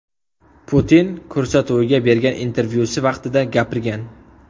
Putin” ko‘rsatuviga bergan intervyusi vaqtida gapirgan .